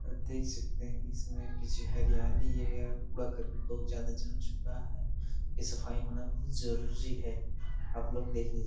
देख सकते हैं कि इसमें पीछे हरियाली वगेरा कुरा -करकट बहुत ज्यादा जम चूका है इ सफाई होना बहुत जरूरी है आप लोग देख लीजिए।